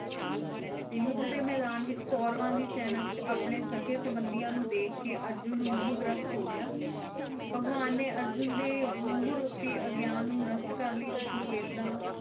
ਤੇ ਯੁੱਧ ਦੇ ਮੈਦਾਨ ਵਿੱਚ ਕੌਰਵਾਂ ਦੀ ਸੈਨਾ ਵਿੱਚ ਆਪਣੇ ਸਖੇ ਸੰਬੰਦੀਆਂ ਨੂੰ ਦੇਖਕੇ ਅਰਜੁਨ ਨੂੰ ਮੋਹਗ੍ਰਸਤ ਹੋਗਿਆ ਭਗਵਾਨ ਨੇ ਅਰਜੁਨ ਦੇ ਮੋਹ ਰੂਪੀ ਅਗਿਆਨ ਨੂੰ ਨਸ਼ਟ ਕਰਨ ਲਈ ਉਸਨੂੰ ਵੇਦਾਂ,